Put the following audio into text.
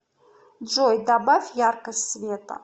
джой добавь яркость света